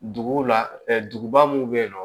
Duguw la duguba mun bɛ yen nɔ